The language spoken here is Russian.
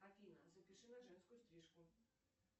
афина запиши на женскую стрижку